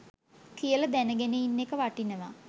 කියල දැනගෙන ඉන්න එක වටිනවා.